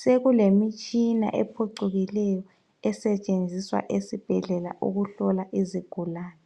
sekulemitshina ephucukileyo esetshenziswa esibhedlela ukuhlola izigulane.